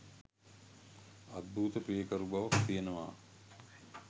අද්භූත පියකරු බවක් තියෙනවා.